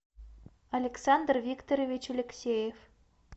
александр викторович алексеев